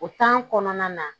O kɔnɔna na